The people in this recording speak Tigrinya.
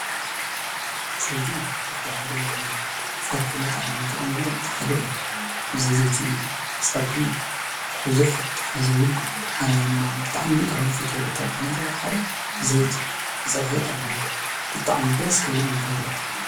ዘይቲ ካብቶም ፀብሒ መጥቀሚ እንጥቀመሎም እቲ ሓደ እዩ ።ብዘይ ዘይቲ ፀብሒ ብዙሕ ጣዕሚ የብሉን አነ ድማ ብጣዕሚ ካብ ዝፈትዎም እታዎት ዘይቲ ዘኣተዎ ደስ ክብል ይገብሮ።